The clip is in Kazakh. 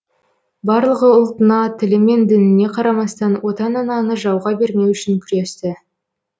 барлығы ұлтына тілі мен дініне қарамастан отан ананы жауға бермеу үшін күресті